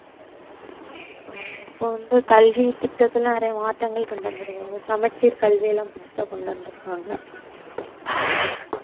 ஆமா இப்ப வந்து கல்வி திட்டத்துல நிறைய மாற்றங்கள் கொண்டு வந்து இருக்காங்க சமச்சீர் கல்வி எல்லாம் புதுசா கொண்டு வந்து இருக்காங்க